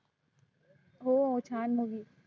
हो छान movie